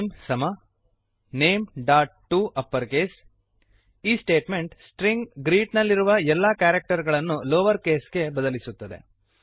name name ಸಮ nameಟಪ್ಪರ್ಕೇಸ್ name dot to upper case ಈ ಸ್ಟೇಟ್ಮೆಂಟ್ ಸ್ಟ್ರಿಂಗ್ ಗ್ರೀಟ್ ಗ್ರೀಟ್ ನಲ್ಲಿರುವ ಎಲ್ಲಾ ಕ್ಯಾರಕ್ಟರ್ ಗಳನ್ನು ಲೋವರ್ ಕೇಸ್ ಗೆ ಬದಲಿಸುತ್ತದೆ